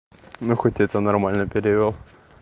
ну хоть это нормально перевёл